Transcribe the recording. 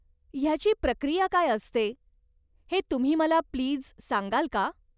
ह्याची प्रक्रिया काय असते, हे तुम्ही मला प्लीज सांगाल का?